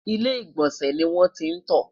ilé igbọnsẹ ní wọn tí n tó